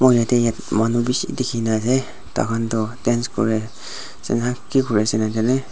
Yate manu beshi dekhi na ase taikhan toh dance kore asena ki kuri ase najane.